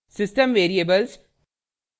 * system variables